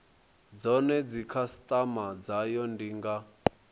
zwone dzikhasitama dzayo ndi nga